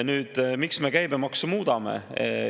Nüüd sellest, miks me käibemaksu tõstame.